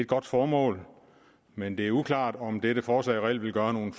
godt formål men det er uklart om dette forslag reelt vil gøre nogen